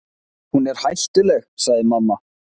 Hún er hættuleg, sagði mamma.